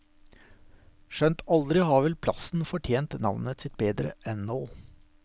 Skjønt aldri har vel plassen fortjent navnet sitt bedre enn nå.